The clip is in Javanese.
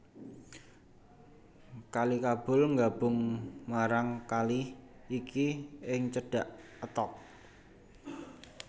Kali Kabul nggabung marang kali iki ing cedhak Attock